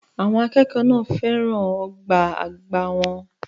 Àwọn akẹ́kọ̀ọ́ náà fẹ́ràn ọ̀gá àgbà wọn.